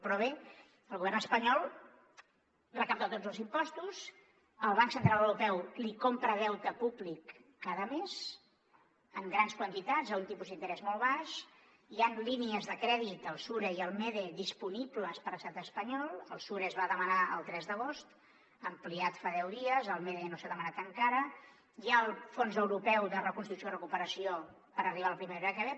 però bé el govern espanyol recapta tots els impostos el banc central europeu li compra deute públic cada mes en grans quantitats a un tipus d’interès molt baix hi han línies de crèdit el sure i el mede disponibles per a l’estat espanyol el sure es va demanar el tres d’agost ampliat fa deu dies el mede no s’ha demanat encara hi ha el fons europeu de reconstrucció i recuperació per arribar a la primavera que ve